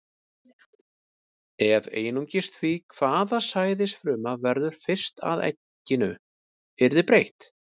Ef einungis því, hvaða sæðisfruma verður fyrst að egginu, yrði breytt.